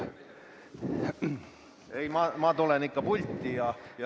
Ei, ma tulen pulti.